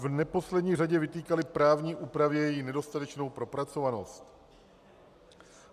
V neposlední řadě vytýkali právní úpravě její nedostatečnou propracovanost.